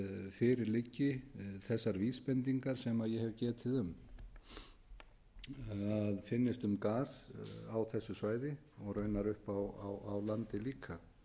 fyrir liggi þessar vísbendingar sem ég hef getið um að það finnist gas á þessu svæði og raunar uppi á landi líka